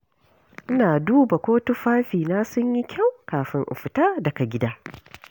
Ina duba ko tufafina sun yi kyau kafin in fita daga gida.